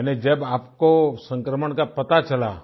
यानी जब आपको संक्रमण का पता चला